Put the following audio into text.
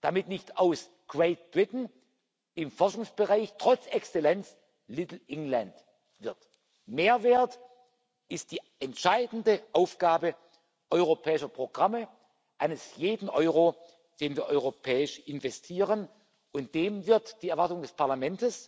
damit nicht aus Great Britain im Forschungsbereich trotz Exzellenz Little England wird. Mehrwert ist die entscheidende Aufgabe europäischer Programme, eines jeden Euro, den wir europäisch investieren, und dem wird die Erwartung des Parlaments